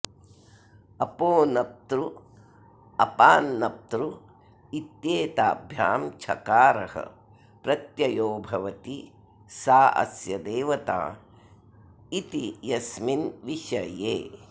अपोनप्तृ अपांनप्तृ इत्येताभ्यां छकारः प्रत्ययो भवति सा अस्य देवता इति यस्मिन् विषये